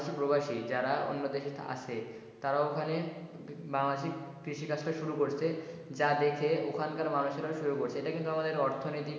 প্রবাসি যারা অন্য দেশে আসে তারা ওখানে বাংলাদেশী কৃষি কাজ শুরু করছে যা দেখে ওখানকার মানুষেরাও শুরু করছে এটা কিন্তু আমাদের অর্থনীতি,